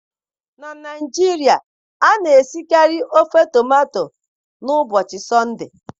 Na Naijiria, a na-esikarị ofe tomato n'ụbọchị Sọnde